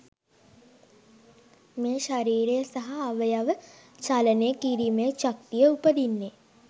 මේ ශරීරය සහ අවයව චලනය කිරීමේ ශක්තිය උපදින්නේ